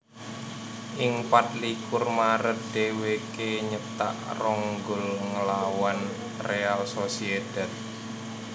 Ing pat likur Maret dèwèké nyétak rong gol nglawan Real Sociedad